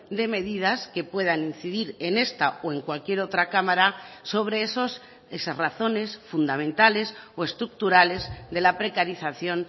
de medidas que puedan incidir en esta o en cualquier otra cámara sobre esos esas razones fundamentales o estructurales de la precarización